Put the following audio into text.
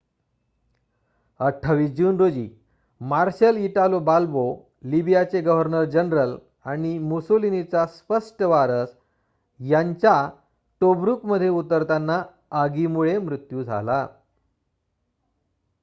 28 जून रोजी marshal Italo Balbo लिबियाचे गव्हर्नर जनरल आणि मुसोलिनीचा स्पष्ट वारस यांचा टोब्रुकमध्ये उतरताना आगीमुळे मृत्यू झाला